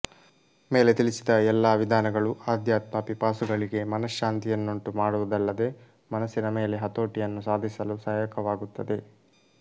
ಮೇಲೆ ತಿಳಿಸಿದ ಎಲ್ಲಾ ವಿಧಾನಗಳು ಆಧ್ಯಾತ್ಮ ಪಿಪಾಸುಗಳಿಗೆ ಮನಃಶಾಂತಿಯನ್ನುಂಟು ಮಾಡುವುದಲ್ಲದೆ ಮನಸ್ಸಿನ ಮೇಲೆ ಹತೋಟಿಯನ್ನು ಸಾಧಿಸಲು ಸಹಾಯಕವಾಗುತ್ತವೆ